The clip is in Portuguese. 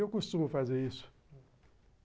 Eu costumo fazer isso.